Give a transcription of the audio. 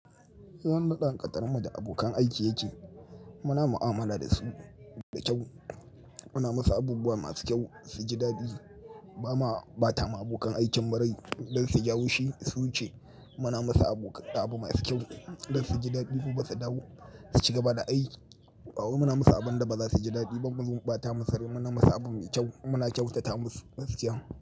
Yanda dangantakar mu da abokan aiki yake, muna mu'amala da su da kyau, muna musu abubuwa masu kyau su ji daɗi. Ba ma ɓata ma abokan aikin mu rai don su ji haushi su wuce muna musu abu masu kyau don su ji daɗi gobe su dawo su cigaba da aiki. Muna musu abin da ba za su ji daɗi ba kuma muzo mu ɓata musu rai muna musu abu mai kyau muna kyauta ma su masu kyau.